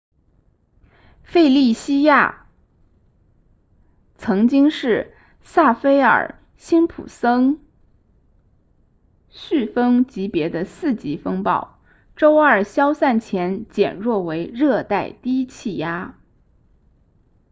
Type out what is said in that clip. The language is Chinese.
费利西亚 felicia 曾经是萨菲尔辛普森 saffir-simpson 飓风级别的4级风暴周二消散前减弱为热带低气压